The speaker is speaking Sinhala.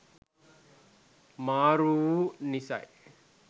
අමාරැ වු නිසයි.